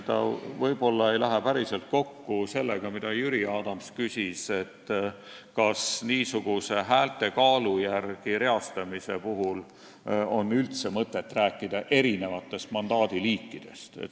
Ta võib-olla ei lähe päriselt kokku sellega, mille kohta Jüri Adams küsis, nimelt, kas niisuguse häälte kaalu järgi reastamise puhul on üldse mõtet rääkida erinevatest mandaadi liikidest.